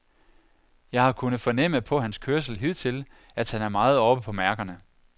Jeg har kunnet fornemme på hans kørsel hidtil, at han er meget oppe på mærkerne.